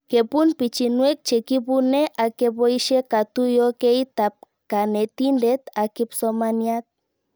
Kepun pichinwek che kipune ak kepoishe katuyokeit ab kanetindet ak kipsomaniat